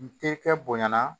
N te kɛ bonyana